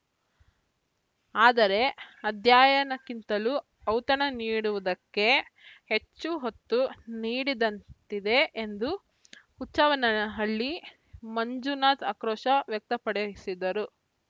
ಆದರೆ ಅಧ್ಯಯನಕ್ಕಿಂತಲೂ ಔತಣ ನೀಡುವುದಕ್ಕೆ ಹೆಚ್ಚು ಹೊತ್ತು ನೀಡಿದಂತಿದೆ ಎಂದು ಹುಚ್ಚವ್ವನಹಳ್ಳಿ ಮಂಜುನಾಥ ಆಕ್ರೋಶ ವ್ಯಕ್ತಪಡಿಸಿದರು